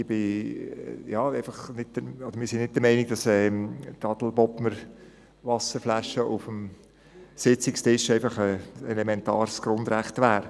Wir sind nicht der Meinung, dass die Adelbodner Flasche auf dem Sitzungstisch ein elementares Grundrecht ist.